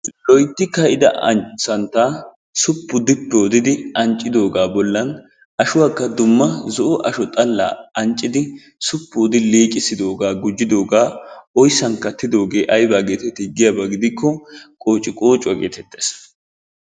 Loytti ka'ida santtaa suppu dippi oddidi anccidoogaa bollan ashuwakka dumma zo'o asho xalaa anccidi suppu odi liiqissidoogaa gujjidoogaa oyssan kattidoogee ayba getettii giyaba gidikko qoociqqocuwa gettettees.